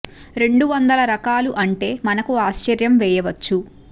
రెండు వందల రకాలు అంటే మనకు ఆశ్చర్యం వేయవచ్చు